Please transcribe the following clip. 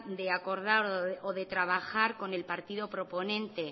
de acordar o de trabajar con el partido proponente